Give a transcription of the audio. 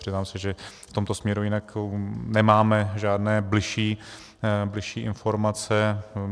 Přiznám se, že v tomto směru jinak nemám žádné bližší informace.